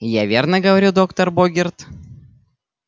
я верно говорю доктор богерт